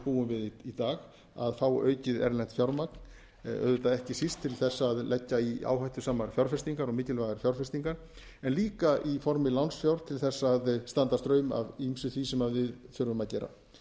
búum við í dag að fá aukið erlent fjármagn auðvitað ekki síst til þess að leggja í áhættusamar fjárfestingar og mikilvægar fjárfestingar en líka í formi lánsfjár til þess að standa straum af ýmsu því sem við þurfum að gera